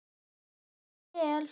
Gangi þér vel.